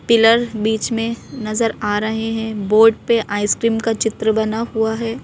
Pillar बीच में नजर आ रहे हैं बोर्ड पे आइसक्रीम का चित्र बना हुआ है।